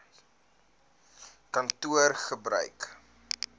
kantoor gebruik eisnr